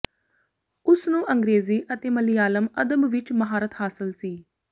ਉਸ ਨੂੰ ਅੰਗਰੇਜ਼ੀ ਅਤੇ ਮਲਿਆਲਮ ਅਦਬ ਵਿੱਚ ਮਹਾਰਤ ਹਾਸਲ ਸੀ